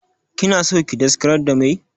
Kina son ki daskarar da meh?